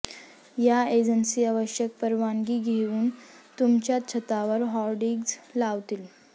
या एजन्सी आवश्यक परवानगी घेऊन तुमच्या छतावर होर्डिंग्ज लावतील